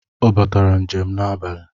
Ọ batara njem n'abali